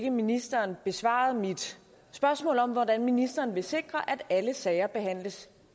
at ministeren besvarede mit spørgsmål om hvordan ministeren vil sikre at alle sager behandles